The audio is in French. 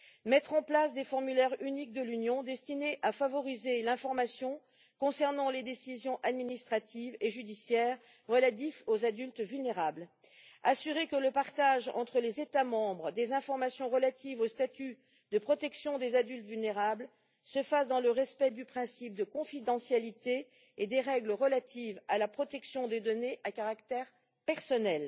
mettre en place des formulaires uniques de l'Union destinés à favoriser l'information concernant les décisions administratives et judiciaires relatives aux adultes vulnérables assurer que le partage entre les États membres des informations relatives au statut de protection des adultes vulnérables se fasse dans le respect du principe de confidentialité et des règles relatives à la protection des données à caractère personnel.